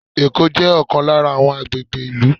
Ẹ̀kọ́ jẹ́ ọ̀kan lára àwọn agbègbè ìlú.